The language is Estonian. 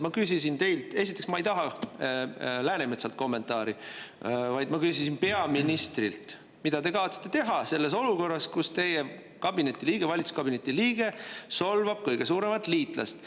Esiteks, ma ei taha Läänemetsalt kommentaari, vaid peaministrilt, mida ta kavatseb teha selles olukorras, kus tema valitsuskabineti liige solvab kõige suuremat liitlast.